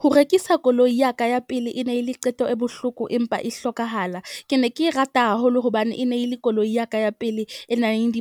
Ho rekisa koloi ya ka ya pele e ne le qeto e bohloko empa e hlokahala. Ke ne ke e rata haholo hobane e ne e le koloi ya ka ya pele e nang